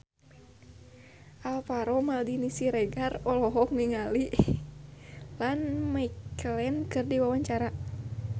Alvaro Maldini Siregar olohok ningali Ian McKellen keur diwawancara